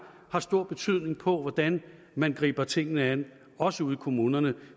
har stor betydning for hvordan man griber tingene an også ude i kommunerne